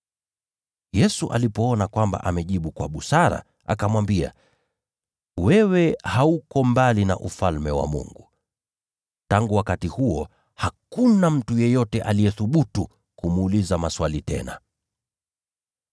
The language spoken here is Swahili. Yesu alipoona kwamba amejibu kwa busara, akamwambia, “Wewe hauko mbali na Ufalme wa Mungu.” Tangu wakati huo, hakuna mtu yeyote aliyethubutu kumuuliza maswali tena.